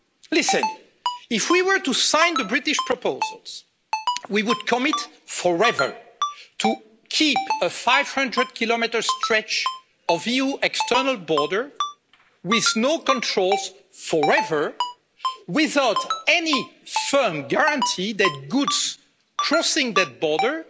Listen, if we were to sign the British proposals, we would commit forever to keeping a 500 km stretch of EU external border, with no controls forever without any firm guarantee that goods crossing that border